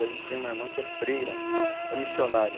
E a gente tem uma irmã que é freira, é missionária.